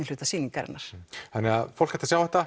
hluta sýningarinnar þannig að fólk ætti að sjá þetta